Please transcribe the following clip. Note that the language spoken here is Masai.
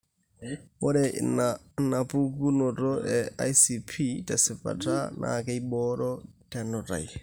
Ore inaapuku eICP tesipata naakeibooro tenutai.